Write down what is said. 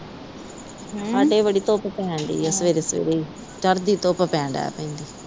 ਸਾਡੇ ਬੜੀ ਧੁੱਪ ਪੈਣ ਦਈ ਆ ਸਵੇਰੇ-ਸਵੇਰੇ ਈ। ਚੜ੍ਹਦੀ ਧੁੱਪ ਪੈਣ ਦਈ ਆ।